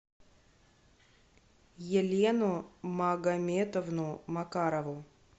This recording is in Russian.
елену магометовну макарову